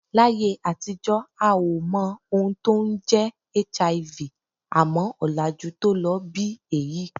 Láyé àtijọ́ a ò mọ ohun tó ń jẹ́ HIV, àmọ́ ọ̀làjú tó ló bí èyí